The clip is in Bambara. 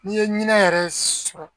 N'i ye ɲinɛ yɛrɛ sɔrɔ